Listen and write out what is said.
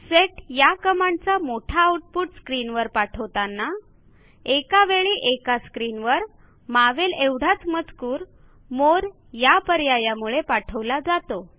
set या कमांडचा मोठा आऊटपुट स्क्रीनवर पाठवताना एकावेळी एका स्क्रीनवर मावेल एवढाच मजकूर मोरे या पर्यायामुळे पाठवला जातो